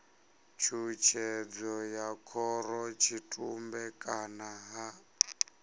tshutshedzo ya khorotshitumbe kana ha